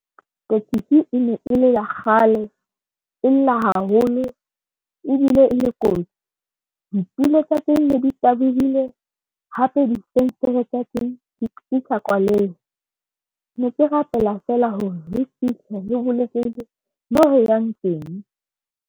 Tekesi e ne e le ya kgale e lla haholo ebile e le kotsi. Ditulo tsa teng ne di tabohile hape, difenstere tsa teng di sa kwalehe ne ke rapela feela hore re fihle re bolokehile mo yang teng.